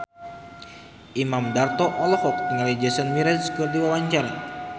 Imam Darto olohok ningali Jason Mraz keur diwawancara